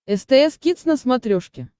стс кидс на смотрешке